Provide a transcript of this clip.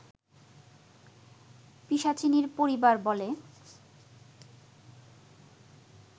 পিশাচিনীর পরিবার বলে